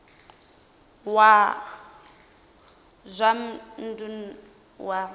wa zwa dzinn ḓu wa